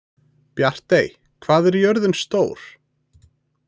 Bjartey, hvað er jörðin stór?